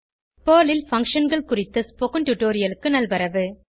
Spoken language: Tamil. பெர்ல் ல் Functionகள் குறித்த ஸ்போகன் டுடோரியலுக்கு நல்வரவு